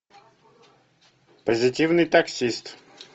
позитивный таксист